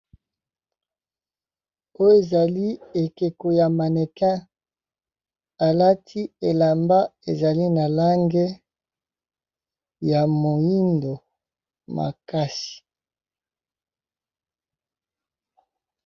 oyo ezali ekeko ya manekin alati elamba ezali na lange ya moindo makasi